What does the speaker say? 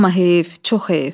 Amma heyif, çox heyif.